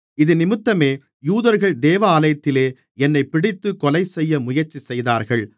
இதினிமித்தமே யூதர்கள் தேவாலயத்திலே என்னைப் பிடித்துக் கொலைசெய்ய முயற்சிசெய்தார்கள்